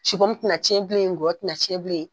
supɔmu tɛna cɛn bilen. , ngɔyɔ tɛna cɛn bilen.